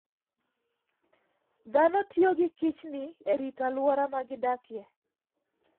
Dhano tiyo gi kichdni e rito alwora ma gidakie.